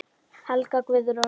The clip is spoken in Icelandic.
Helga Guðrún.